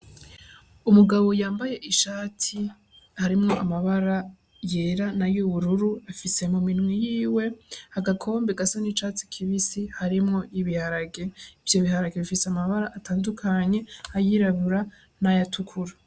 Umugabo yambaye ishati harimwo amabara yera nayo ubururu afise mu minwe yiwe agakombe gasa n' icatsi kibisi harimwo ibiharage ivyo biharage bifise amabara atandukanye ayirabura n' ayatukura.